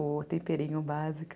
O temperinho básico.